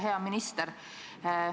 Hea minister!